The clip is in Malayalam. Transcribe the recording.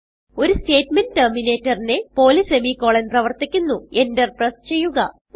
ഒരു സ്റ്റേറ്റ് മെന്റ് ടെർമിനേറ്ററിനെ പോലെ സെമിക്കോളൻ പ്രവർത്തിക്കുന്നുഎന്റർ പ്രസ് ചെയ്യുക